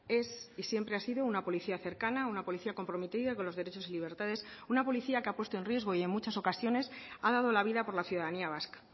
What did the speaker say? es y siempre ha sido una policía cercana una policía comprometida con los derechos y libertades una policía que ha puesto en riesgo y en muchas ocasiones ha dado la vida por la ciudadanía vasca